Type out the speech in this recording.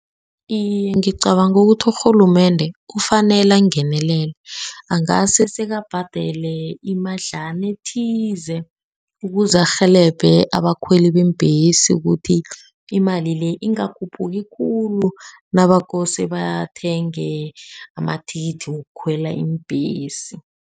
Iye, ngicabanga ukuthi urhulumende kufanele angenelele angase sekabhadele imadlana ethize, ukuze arhelebhe abakhweli beembhesi ukuthi imali le ingakhuphuki khulu, nakose bathenge amathikithi wokukhwela iimbhesi.